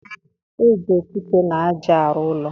E ji okwute na aja a ruụ ụlọ